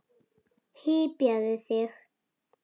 Hypjaðu þig.